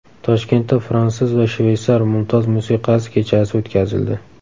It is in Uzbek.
Toshkentda fransuz va shveysar mumtoz musiqasi kechasi o‘tkazildi.